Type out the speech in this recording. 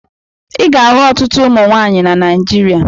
Ị ga-ahụ ọtụtụ ụmụ nwaanyị na Naijiria.